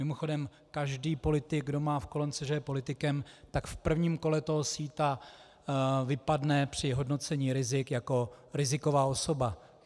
Mimochodem, každý politik, kdo má v kolonce, že je politikem, tak v prvním kole toho síta vypadne při hodnocení rizik jako riziková osoba.